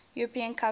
european cup final